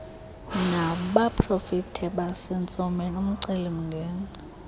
nabaprofeti basentsomini umcelimngeni